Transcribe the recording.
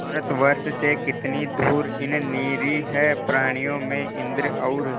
भारतवर्ष से कितनी दूर इन निरीह प्राणियों में इंद्र और